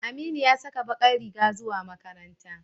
Aminu ya saka bakar riga zuwa makaranta.